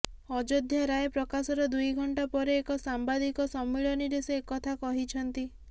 ଅଯୋଧ୍ୟା ରାୟ ପ୍ରକାଶର ଦୁଇ ଘଣ୍ଟା ପରେ ଏକ ସାମ୍ବାଦିକ ସମ୍ମିଳନୀରେ ସେ ଏକଥା କହିଛନ୍ତି